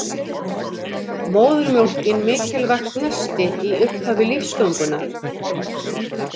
Móðurmjólkin mikilvægt nesti í upphafi lífsgöngunnar